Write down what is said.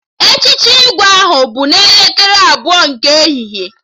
Echichi Igwe ahụ bụ n'elekere abụọ nke ehihie